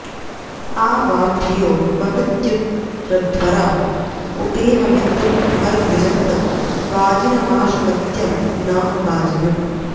आ वां॒ धियो॑ ववृत्युरध्व॒राँ उपे॒ममिन्दुं॑ मर्मृजन्त वा॒जिन॑मा॒शुमत्यं॒ न वा॒जिन॑म्